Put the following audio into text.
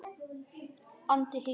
andi á hikinu.